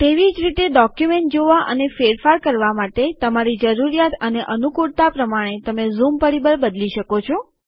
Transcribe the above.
તેવી જ રીતે ડોક્યુમેન્ટ જોવા અને ફેરફાર કરવા માટે તમારી જરૂરિયાત અને અનુકૂળતા પ્રમાણે તમે ઝૂમ પરિબળ બદલી શકો છો